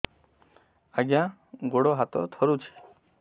ଆଜ୍ଞା ଗୋଡ଼ ହାତ ଥରୁଛି